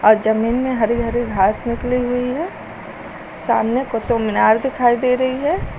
जमीन में हरी हरी घास निकली हुई है सामने कुतुब मीनार दिखाई दे रही है।